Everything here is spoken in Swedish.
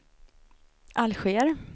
Alger